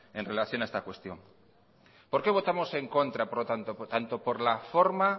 en relación a esta cuestión por qué votamos en contra por lo tanto tanto por la forma